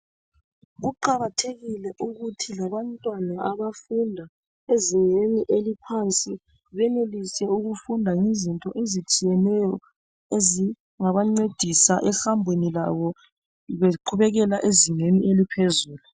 Kuqakathekile ukuthi labantwana abafunda ezingeni eliphansi benelise ukufunda ngezinto ezitshiyeneyo ezingabancedisa ehambeni lwabo beqhubekela ezingeni eliphezulu.